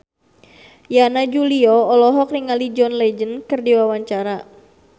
Yana Julio olohok ningali John Legend keur diwawancara